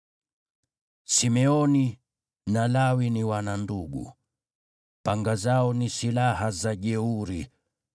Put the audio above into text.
“Simeoni na Lawi ni wana ndugu: panga zao ni silaha za jeuri.